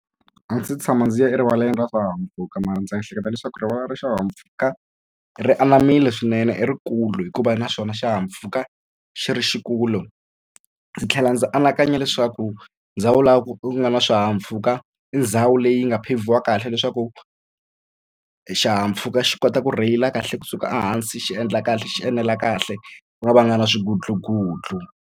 A ndzi se tshama ndzi ya erivaleni ra swihahampfhuka mara ndzi ehleketa leswaku rivala ra swihahampfhuka ri anamile swinene i rikulu hikuva naswona xihahampfhuka xi ri xikulu ndzi tlhela ndzi anakanya leswaku ndhawu laha ku nga na swihahampfhuka i ndhawu leyi nga phevhiwa kahle leswaku xihahampfhuka xi kota ku rheyila kahle kusuka ehansi xi endla kahle xi enela kahle ku nga va nga na swigutlugutlu.